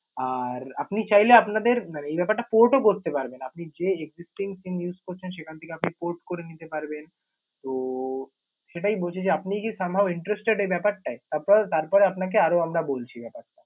আর আপনি চাইলে আপনাদের মানে এই ব্যাপারটা port ও করতে পারবেন। আপনি যে existing SIM use করছেন সেখান থেকে আপনি port করে নিতে পারবেন। তো সেটাই বলছি যে আপনি কি somehow intersested এই ব্যাপারটায়? তারপর তারপরে আপনাকে আরও আমরা বলছি ব্যাপারটা।